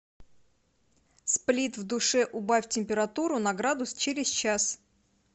сплит в душе убавь температуру на градус через час